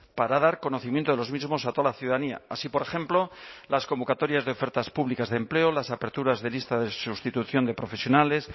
para dar conocimiento de los mismos a toda la ciudadanía así por ejemplo las convocatorias de ofertas públicas de empleo las aperturas de listas de sustitución de profesionales